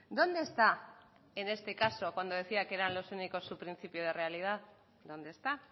dónde está en este caso cuando decía que eran los únicos su principio de realidad dónde está